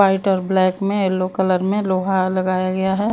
White और black में yellow colour में लोहा लगाया गया है।